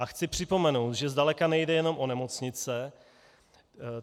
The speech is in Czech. A chci připomenout, že zdaleka nejde jenom o nemocnice.